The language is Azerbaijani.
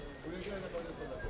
Nəyə gəlir?